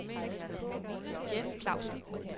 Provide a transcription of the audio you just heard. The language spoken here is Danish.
Jeff Klavsen